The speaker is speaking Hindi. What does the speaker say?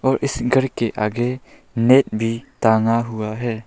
और इस घर के आगे नेट भी टंगा हुआ है।